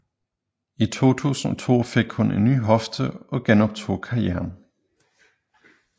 I 2002 fik hun en ny hofte og genoptog karrieren